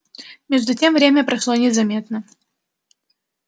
между тем время прошло незаметно